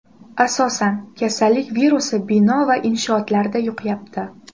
Asosan, kasallik virusi bino va inshootlarda yuqyapti.